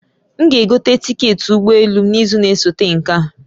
M g'egote tiketị ụgbọ elu m n'izu na-esote nke a